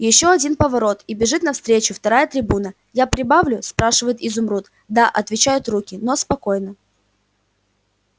ещё один поворот и бежит навстречу вторая трибуна я прибавлю спрашивает изумруд да отвечают руки но спокойно